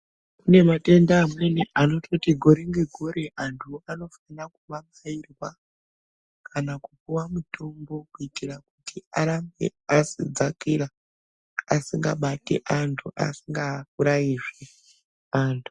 Kune matenda amweni anototi gore nge gore antu anofanira kuma bairwa kana kupuwa mutombo kuitira kuti arambe asi dzakira asingabati antu asinga urayizve antu.